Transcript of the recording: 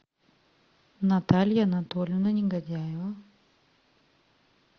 наталья анатольевна негодяева